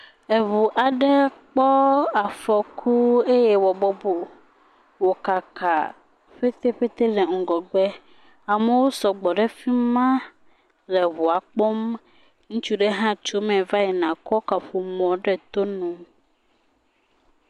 Eŋu aɖe kpɔ afɔku eye wo bɔbɔ, wo kaka ƒeteƒete le ŋgɔgbe. Amewo sɔgbɔ ɖe fi ma le ŋua kpɔm. Ŋutsu aɖe hã tso eme va yina kɔ kaƒomɔ ɖo to nu.